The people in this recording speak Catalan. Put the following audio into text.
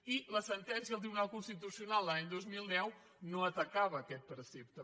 i la sentència del tribunal cons·titucional de l’any dos mil deu no atacava aquest precepte